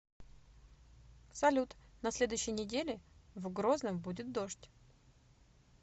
салют на следующей неделе в грозном будет дождь